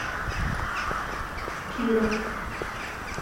киров